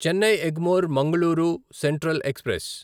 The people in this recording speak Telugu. Chennai Egmore Mangaluru central express